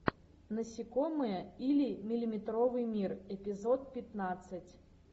насекомые или миллиметровый мир эпизод пятнадцать